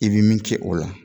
I bi min kɛ o la